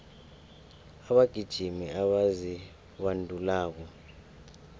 abagijimi abazibandulako